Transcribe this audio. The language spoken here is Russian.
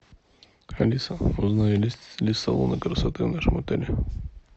алиса узнай есть ли салоны красоты в нашем отеле